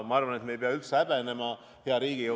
Ma arvan, et me ei pea häbenema, hea Riigikogu.